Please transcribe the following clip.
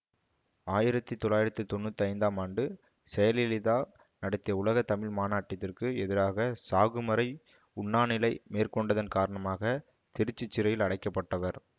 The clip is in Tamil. ஆயிரத்தி தொள்ளாயிரத்தி தொன்னூற்தி ஐந்தாம் ஆண்டு செயலலிதா நடத்திய உலக தமிழ் மாநாட்டிதிற்கு எதிராக சாகும் வரை உண்ணாநிலை மேற்கொண்டதன் காரணமாக திருச்சி சிறையில் அடைக்கப்பட்டவர்